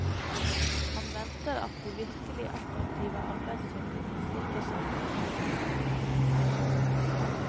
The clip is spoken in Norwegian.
Han venter at de virkelig attraktive arbeidssøkerne stikker seg ut når søkerbunken åpnes.